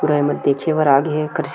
पूरा एमन देखे बर आगे हे एकर--